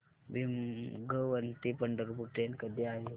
भिगवण ते पंढरपूर ट्रेन कधी आहे